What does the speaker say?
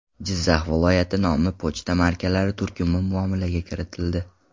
Jizzax viloyati” nomli pochta markalari turkumi muomalaga kiritildi.